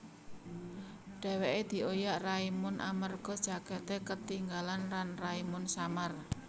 Dhèwèké dioyak Raimund amerga jakèté ketinggalan lan Raimund samar